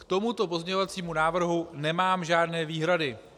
K tomuto pozměňovacímu návrhu nemám žádné výhrady.